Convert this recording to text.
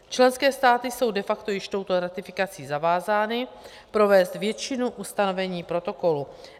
Členské státy jsou de facto již touto ratifikací zavázány provést většinu ustanovení protokolu.